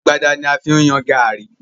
Agbada ni a fi ń yan gààrí.